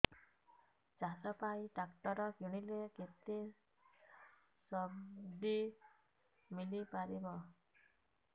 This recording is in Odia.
ଚାଷ ପାଇଁ ଟ୍ରାକ୍ଟର କିଣିଲେ କେତେ ସବ୍ସିଡି ମିଳିପାରିବ